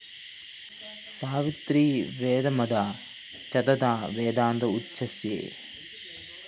സാവിത്രീ വേദമാതാ ച തഥാ വേദാന്ത ഉച്യസേ